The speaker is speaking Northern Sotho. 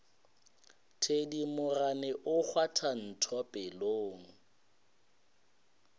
thedimogane o kgwatha ntho pelong